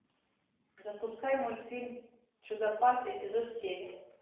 запускай мультфильм чудопад эпизод семь